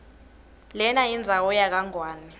lenayindzawo yakangwane